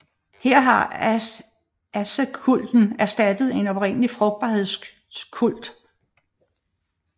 Her har asekulten erstattet en oprindelig frugtbarhedskult